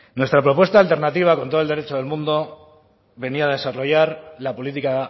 nuestra propuesta alternativa con todo el derecho del mundo venía a desarrollar la política